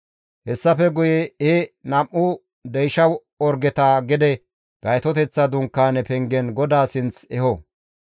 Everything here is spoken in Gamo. Hessafe guye he nam7u deysha orgeta gede Gaytoteththa Dunkaaneza pengen GODAA sinth efo.